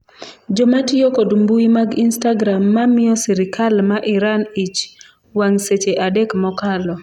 jomatiyo kod mbui mag istagram ma miyo sirikal ma Iran ich wang' seche adek mokalo